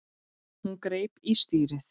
Hún greip í stýrið.